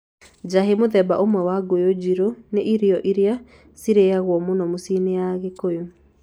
Njahi, mũthemba ũmwe wa ngũyũ njirũ, nĩ irio iria ciaragio mũno mĩciĩ-inĩ ya Kikuyu.